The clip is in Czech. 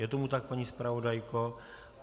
Je tomu tak, paní zpravodajko?